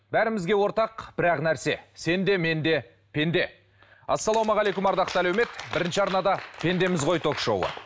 бәрімізге ортақ бір ақ нәрсе сен де мен де пенде ассалаумағалейкум ардақты әлеумет бірінші арнада пендеміз ғой ток шоуы